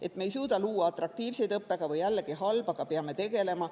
Et me ei suuda luua atraktiivseid õppekavu – jällegi halb, aga peame sellega tegelema.